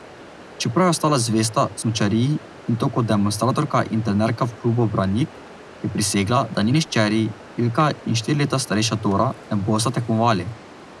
Čeprav je ostala zvesta smučariji, in to kot demonstratorka in trenerka v klubu Branik, je prisegla, da njeni hčeri, Ilka in štiri leta starejša Dora, ne bosta tekmovali.